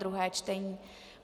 druhé čtení